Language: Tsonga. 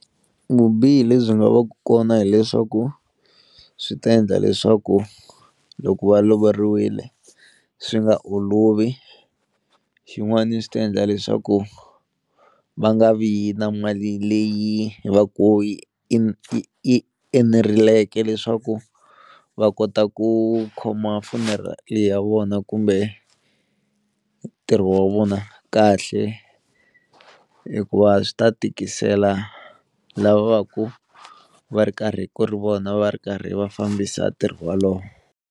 Vubihi le byi nga va ka kona hileswaku swi ta endla leswaku loko va lovoriwile swi nga olovi, xin'wani swi ta endla leswaku va nga vi na mali leyi va ngo yi i i i i nereleke leswaku va kota ku khoma funeral leyi ya vona kumbe ntirho wa vona kahle hikuva swi ta tikisela lava va ku va ri karhi ku ri vona va ri karhi va fambisa ntirho walowo.